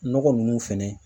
Nɔgɔ nunnu fɛnɛ